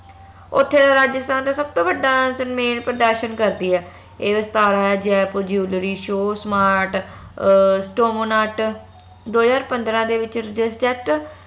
ਓਥੇ ਰਾਜਸਥਾਨ ਦਾ ਸਬਤੋ ਵੱਡਾ ਸੰਮੇਲ ਪ੍ਰਦਰਸ਼ਨ ਕਰਦੀ air Vistara Jaipur jewelry show smart uh stone art ਦੋ ਹਜਾਰ ਪੰਦਰਾਂ ਦੇ ਵਿਚ